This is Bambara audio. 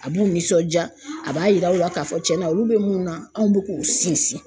A b'u nisɔndiya, a b'a yira aw la k'a fɔ tiɲɛna olu bɛ mun na, anw bɛ k'u sinsin.